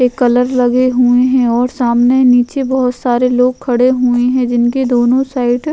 ये कलर लगे हुये है और सामने नीचे बहुत सारे लोग खड़े हुए हैं जिनके दोनो साइड --